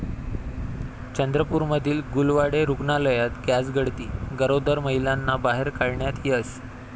चंद्रपूरमधील गुलवाडे रुग्णालयात गॅसगळती, गरोदर महिलांना बाहेर काढण्यात यश